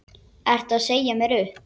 Ertu að segja mér upp?